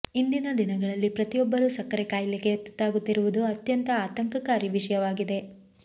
ಇಂದಿನ ದಿನಗಳಲ್ಲಿ ಪ್ರತಿಯೊಬ್ಬರು ಸಕ್ಕರೆ ಕಾಯಿಲೆಗೆ ತುತ್ತಾಗುತ್ತಿರುವುದು ಅತ್ಯಂತ ಆತಂಕಕಾರಿ ವಿಷಯವಾಗಿದೆ